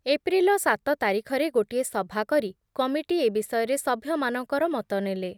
April ସାତ ତାରିଖରେ ଗୋଟିଏ ସଭା କରି କମିଟି ଏ ବିଷୟରେ ସଭ୍ୟମାନଙ୍କର ମତ ନେଲେ ।